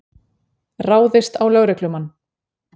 Ráðist á lögreglumann